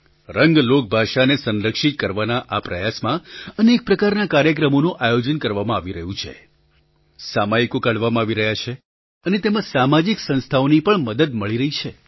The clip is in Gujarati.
રંગ લોકભાષાને સંરક્ષિત કરવાના આ પ્રયાસમાં અનેક પ્રકારના કાર્યક્રમોનું આયોજન કરવામાં આવી રહ્યું છે સામયિકો કાઢવામાં આવી રહ્યાં છે અને તેમાં સામાજિક સંસ્થાઓની પણ મદદ મળી રહી છે